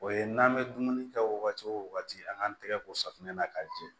O ye n'an bɛ dumuni kɛ wagati o wagati an k'an tɛgɛ ko safunɛ na k'a jɛ